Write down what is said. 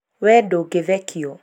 we ndũngĩthekio